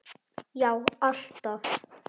Já alltaf.